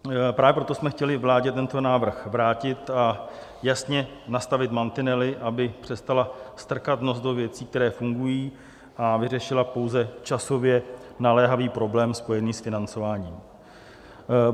Právě proto jsme chtěli vládě tento návrh vrátit a jasně nastavit mantinely, aby přestala strkat nos do věcí, které fungují, a vyřešila pouze časově naléhavý problém spojený s financováním.